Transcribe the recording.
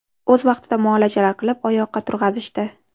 O‘z vaqtida muolajalar qilib, oyoqqa turg‘azishdi.